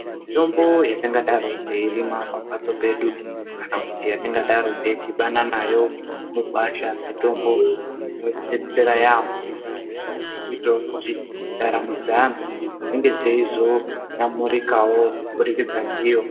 Mithombo yetingadaro teirima pamhatso pedu kana yetingadaro teidhibana nayo mugwasha mithombo inodetsera yaampho yechizoitawo kuti ndaramo dzeanhu dzinge dzechizoyamurikawo kubudikidza ndiyo.